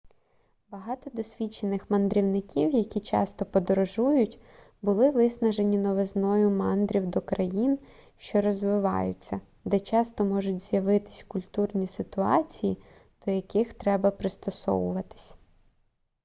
багато досвідчених мандрівників які часто подорожують були виснажені новизною мандрів до країн що розвиваються де часто можуть з'явитись культурні ситуації до яких треба пристосуватись